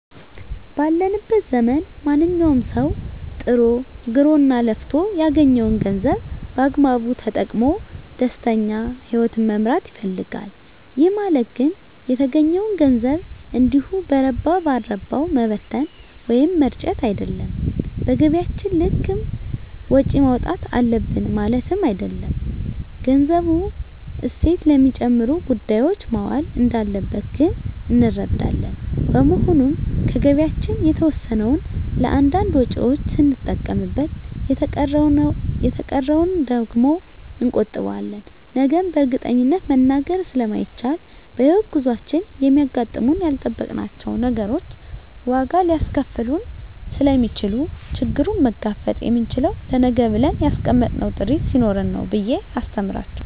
ባለንበት ዘመን ማንኛዉም ሰዉ ጥሮ ግሮእና ለፍቶ ያገኘዉን ገንዘብ በአግባቡ ተጠቅሞ ደስተኛ ህይወትን መምራት ይፈልጋል ይህ ማለት ግን የተገኘዉን ገንዘብ እንዲሁ በረባ ባረባዉ መበተን ወይም መርጨት አይደለም በገቢያችን ልክም ወጪ ማዉጣት አለብን ማለትም አይደለም ገንዘቡ እሴት ለሚጨምሩ ጉዳዮች መዋል እንዳለበት ግን እንረዳለን በመሆኑም ከገቢያችን የተወሰነዉን ለእያንዳንድ ወጪዎች ስንጠቀምበት የተቀረዉን ደግሞ እንቆጥበዋለን ነገን በእርግጠኝነት መናገር ስለማይቻልም በሕይወት ጉዟችን የሚያጋጥሙን ያልጠበቅናቸዉ ነገሮች ዋጋ ሊያስከፍሉን ስለሚችሉ ችግሩን መጋፈጥ የምንችለዉ ለነገ ብለን ያስቀመጥነዉ ጥሪት ስኖረን ነዉ ብየ አስተምራቸዋለሁ